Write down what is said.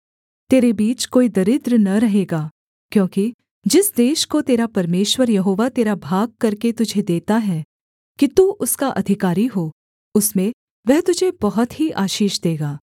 तेरे बीच कोई दरिद्र न रहेगा क्योंकि जिस देश को तेरा परमेश्वर यहोवा तेरा भाग करके तुझे देता है कि तू उसका अधिकारी हो उसमें वह तुझे बहुत ही आशीष देगा